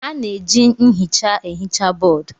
A na-eji nhicha ehicha bọọdụ.